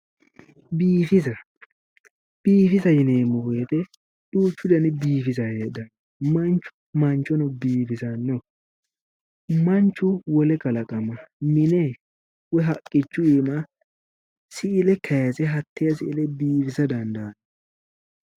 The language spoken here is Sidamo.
Biifisa biifisate yineemmo woyite duuchu dani biifisa heedhanno manchu manchono biifisanno manchu wole kalaqama mine woyi haqqichu iima siile kayise hattee siile biifisa dandaanno